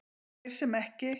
Þeir sem ekki